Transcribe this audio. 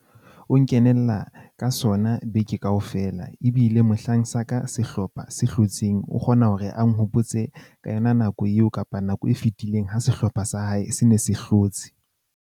O nkenella ka sona beke kaofela. Ebile mohlang sa ka sehlopha se hlotseng, o kgona hore a nhopotse ka yona nako eo kapa nako e fetileng ha sehlopha sa hae se ne se hlotse.